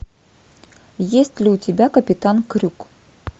есть ли у тебя капитан крюк